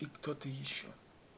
кто-то ещё